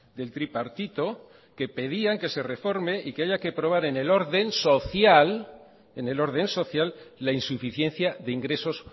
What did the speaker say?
del tripartito que pedían que se reforme y que haya que aprobar en el orden social la insuficiencia de ingresos